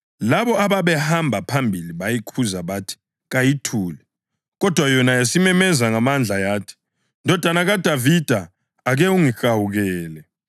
Labo ababehamba phambili bayikhuza bathi kayithule, kodwa yona yasimemeza ngamandla yathi, “Ndodana kaDavida ake ungihawukele!”